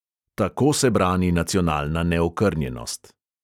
Tako se brani nacionalna neokrnjenost!